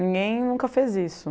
Ninguém nunca fez isso.